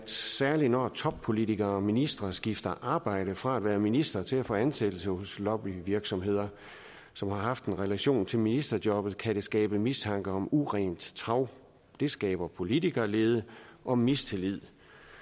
særlig når toppolitikere og ministre skifter arbejde fra at være ministre til at få ansættelse hos lobbyvirksomheder som har haft en relation til ministerjobbet kan det skabe mistanke om urent trav det skaber politikerlede og mistillid